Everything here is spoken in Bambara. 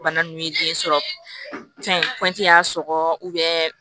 Bana nunnu ye den sɔrɔ fɛn y'a sɔgɔ